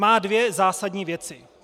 Má dvě zásadní věci.